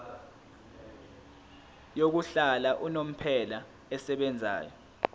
yokuhlala unomphela esebenzayo